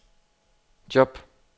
job